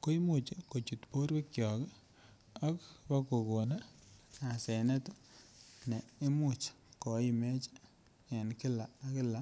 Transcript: ko Imuch kochut borwekyok ak kobagon asenet ne imuch ko imech en kila ak kila